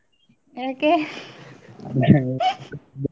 ಏಕೆ? .